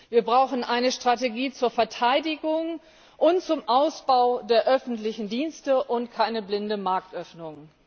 Wir brauchen eine Strategie zur Verteidigung und zum Ausbau der öffentlichen Dienste und keine blinde Marktöffnung.